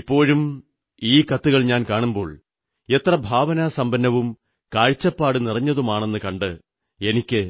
ഇപ്പോഴും ഈ കത്തുകൾ ഞാൻ കാണുമ്പോൾ എത്ര ഭാവനാസമ്പന്നവും കാഴ്ചപ്പാടുനിറഞ്ഞതുമാണെന്നു കണ്ട് എനിക്ക്